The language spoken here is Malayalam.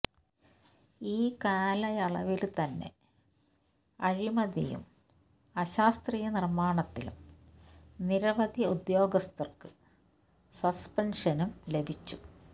ഈ കാലായാളവില് തന്നെ അഴിമതിയും അശാസ്ത്രീയ നിര്മാണത്തിലും നിരവധി ഉദ്യോഗസ്ഥര്ക്ക് സസ്പെന്ഷനും ലഭിച്ചു